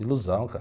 Ilusão, cara.